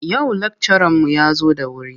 Yau lakcaranmu ya zo da wuri.